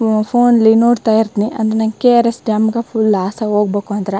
ಫೋನ್ಲಿ ನೋಡತ್ತಾ ಇರ್ತ್ ನಿ ಅಂದ್ರೆ ಕೆ.ಆರ್.ಎಸ್ ಡ್ಯಾಮ್ ಗ ಫುಲ್ ಲಾಸ್ ಹೋಗಬೇಕು ಅಂದ್ರ --